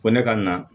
Ko ne ka na